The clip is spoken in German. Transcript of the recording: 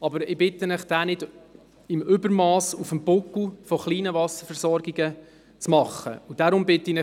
Aber ich bitte Sie, diesen nicht im Übermass auf dem Buckel von kleinen Wasserversorgungen zu sanieren.